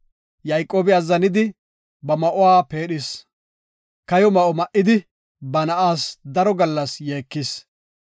Yayqoobi azzanidi, ba ma7uwa peedhis. Kayo ma7o ma7idi, ba na7aas daro gallas yeekis.